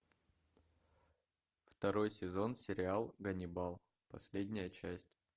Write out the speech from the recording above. второй сезон сериал ганнибал последняя часть